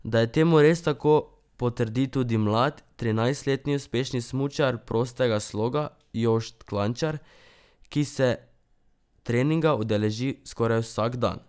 Da je temu res tako, potrdi tudi mlad, trinajstletni uspešni smučar prostega sloga Jošt Klančar, ki se treninga udeleži skoraj vsak dan.